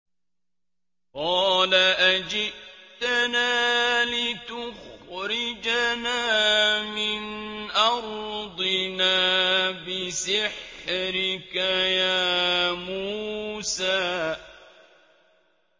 قَالَ أَجِئْتَنَا لِتُخْرِجَنَا مِنْ أَرْضِنَا بِسِحْرِكَ يَا مُوسَىٰ